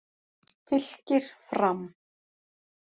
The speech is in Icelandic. Fylkir- Fram